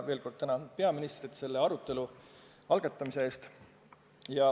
Ja veel kord tänan ka peaministrit selle arutelu algatamise eest.